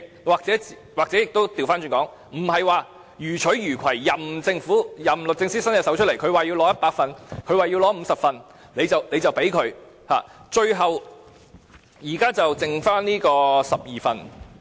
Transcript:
也許反過來說，不是予取予攜，任由律政司要求索取多少份——他要100份、要50份，也都給他——最後，現在剩下12份。